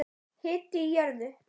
Hiti í jörðu